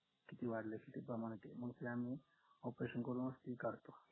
किती वाढलाय किती प्रमाणतेय मंग ते आम्ही operation करूनच ती काढतो